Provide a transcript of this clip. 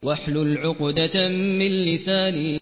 وَاحْلُلْ عُقْدَةً مِّن لِّسَانِي